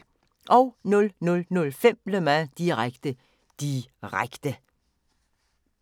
00:05: Le Mans – direkte, direkte